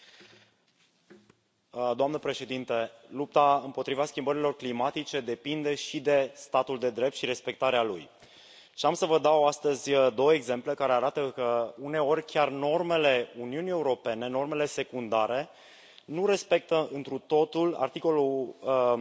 Doamna președintă, lupta împotriva schimbărilor climatice depinde și de statul de drept și de respectarea lui. Și am să vă dau astăzi două exemple care arată că, uneori, chiar normele Uniunii Europene, normele secundare, nu respectă întru totul articolul 11 din tratat.